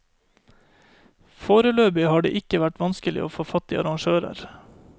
Foreløpig har det ikke vært vanskelig å få fatt i arrangører.